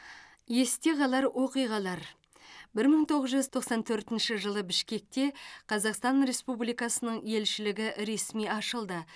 есте қалар оқиғалар бір мың тоғыз жүз тоқсан төртінші жылы бішкекте қазақстан республикасының елшілігі ресми ашылды